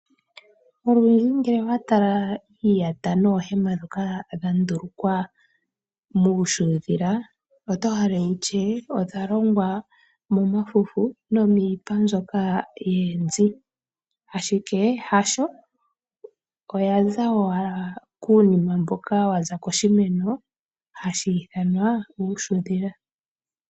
Olundji ngele owa tala iiyata noohema ndhoka dha ndulukwa muushuundhila oto hala wutye odha longwa momafufu nomiipa mbyoka yoonzi, ashike hasho, oyaza owala kuunima mboka waza koshimeno hashi ithanwa uushudhila.